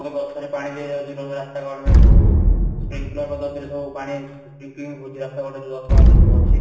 ଗଛ ରେ ପାଣି ଦିଆ ଯାଉନି ରାସ୍ତା କଡା ରେ ସବୁ sprinkle ପଦ୍ଧତି ରେ ସବୁ ପାଣି Sprinkling ହଉଛି ରାସ୍ତା କଡା ରେ ଗଛ ମାନେ ସବୁ ଅଛି